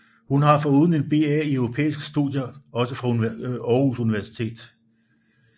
Hun har foruden en BA i europæiske studier også fra Aarhus Universitet